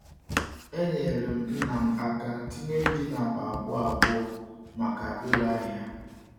Enyere m nna m aka tinye ji n’akpa abụọ abụọ maka ire ahịa.